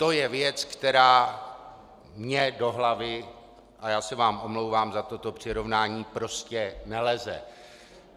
To je věc, která mně do hlavy - a já se vám omlouvám za toto přirovnání - prostě neleze.